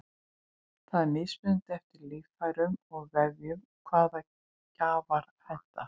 það er mismunandi eftir líffærum og vefjum hvaða gjafar henta